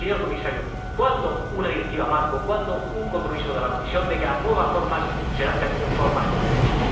Señor Comisario, ¿para cuándo una directiva marco, para cuándo un compromiso de la Comisión de que las nuevas formas serán también formas con derechos?